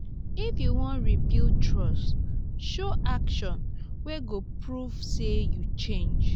if yu wan rebuild trust show actions wey go prove say yu change.